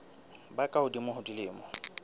ba ka hodimo ho dilemo